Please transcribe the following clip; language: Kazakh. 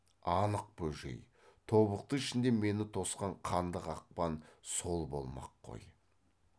анық бөжей тобықты ішінде мені тосқан қанды қақпан сол болмақ қой